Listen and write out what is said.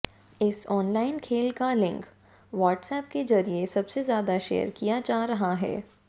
इस ऑनलाइन खेल का लिंक वाट्सएप के जरिए सबसे ज्यादा शेयर किया जा रहा है